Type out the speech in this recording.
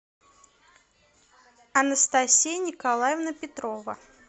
анастасия николаевна петрова